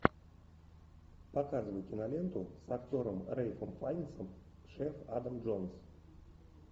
показывай киноленту с актером рэйфом файнсом шеф адам джонс